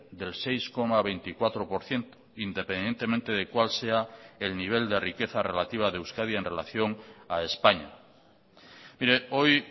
del seis coma veinticuatro por ciento independientemente de cuál sea el nivel de riqueza relativa de euskadi en relación a españa mire hoy